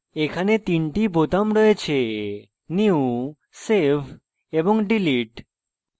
এতে তিনটি বোতাম রয়েছেnew save এবং delete